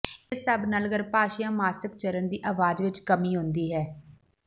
ਇਸ ਸਭ ਨਾਲ ਗਰੱਭਾਸ਼ਯ ਮਾਸਕਚਰਨ ਦੀ ਆਵਾਜ਼ ਵਿਚ ਕਮੀ ਆਉਂਦੀ ਹੈ